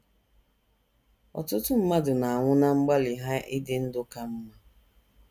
Ọtụtụ mmadụ na - anwụ ná mgbalị ha ịdị ndụ ka mma.